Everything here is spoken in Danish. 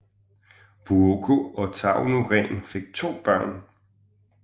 Vuokko og Tauno Rehn fik to børn